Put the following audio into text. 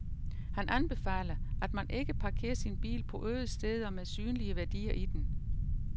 Han anbefaler, at man ikke parkerer sin bil på øde steder med synlige værdier i den.